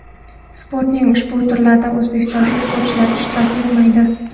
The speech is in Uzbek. Sportning ushbu turlarida o‘zbekistonlik sportchilar ishtirok etmaydi.